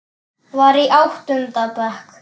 Var í áttunda bekk.